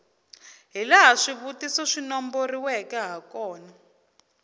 hilaha swivutiso swi nomboriweke hakona